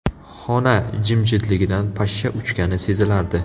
Xona jimjitligidan pashsha uchgani sezilardi.